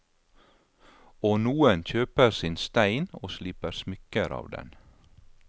Og noen kjøper sin stein og sliper smykker av den.